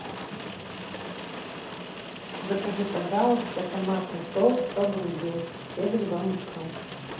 закажи пожалуйста томатный соус по грузински стебель бамбука